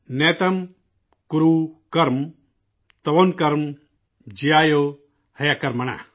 نیتں کورو کرم توں کرم جیایو ہیکرمن